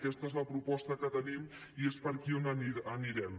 aquesta és la proposta que tenim i és per aquí per on anirem